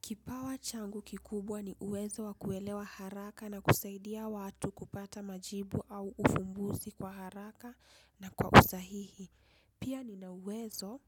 Kipawa changu kikubwa ni uwezo wakuelewa haraka na kusaidia watu kupata majibu au ufumbuzi kwa haraka na kwa usahihi. Pia ni na uwezo